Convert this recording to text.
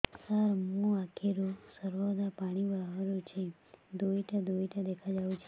ସାର ମୋ ଆଖିରୁ ସର୍ବଦା ପାଣି ବାହାରୁଛି ଦୁଇଟା ଦୁଇଟା ଦେଖାଯାଉଛି